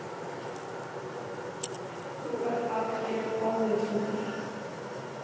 Þú ert alger ónytjungur